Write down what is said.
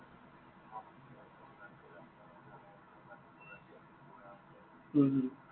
হম হম